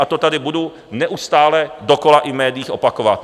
A to tady budu neustále dokola i v médiích opakovat.